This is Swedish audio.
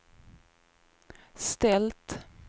ställt